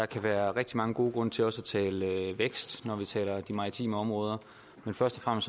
kan være rigtig mange gode grunde til også at tale vækst når man taler om de maritime områder men først og